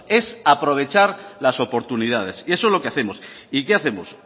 es aprovechar las oportunidades y eso es lo que hacemos y qué hacemos